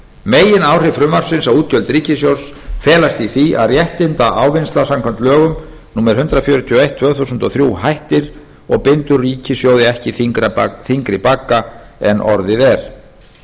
megináhrif frumvarpsins á útgjöld ríkissjóðs felast í því að réttindaávinnsla samkvæmt lögum númer hundrað fjörutíu og eitt tvö þúsund og þrír hættir og bindur ríkissjóði ekki þyngri bagga en orðið er